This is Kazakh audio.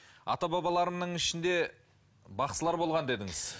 ата бабаларымның ішінде бақсылар болған дедіңіз